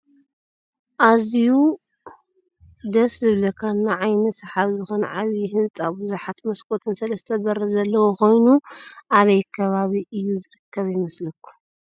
ኣዝየዩ ደስ ዝብለካን ንዓይኒ ስሓቢ ዝኮነ ዓብይ ህንፃ ብዙሓት ምስኮትን ሰለስተ በሪ ዘለዎ ኮይኑ ኣበይ ኣከባቢ እዩ ዝርከብ ይመስለኩም ?